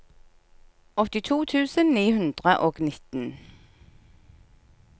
åttito tusen ni hundre og nitten